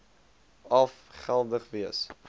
af geldig wees